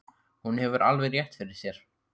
Hún hefur alveg rétt fyrir sér.